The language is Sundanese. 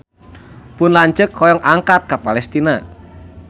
Pun lanceuk hoyong angkat ka Palestina